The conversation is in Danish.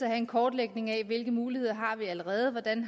have en kortlægning af hvilke muligheder vi allerede har hvordan